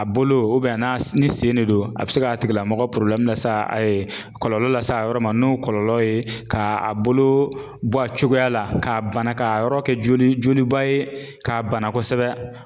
A bolo n'a ni sen de don a bɛ se k'a tigilamɔgɔ la s kɔlɔlɔ la s'a yɔrɔ ma n'o kɔlɔlɔ ye k'a bolo bɔ a cogoya la k'a bana k'a yɔrɔ kɛ joliba ye k'a bana kosɛbɛ